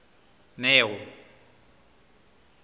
neo